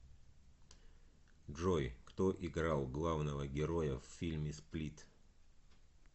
джой кто играл главного героя в фильме сплит